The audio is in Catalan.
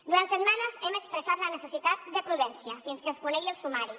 durant setmanes hem expressat la necessitat de prudència fins que es conegui el sumari